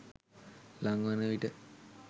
ළං වන විට